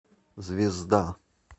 звезда